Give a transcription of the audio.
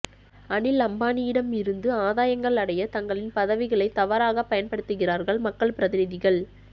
அனில் அம்பானியிடம் இருந்து ஆதாயங்கள் அடைய தங்களின் பதவிகளை தவறாக பயன்படுத்துகிறார்கள் மக்கள் பிரதிநிதிகள்